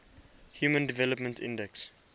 human development index